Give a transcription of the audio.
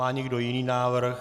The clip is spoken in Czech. Má někdo jiný návrh?